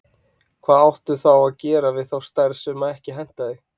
Hvað átti þá að gera við þá stærð sem ekki hentaði?